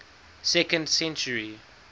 second century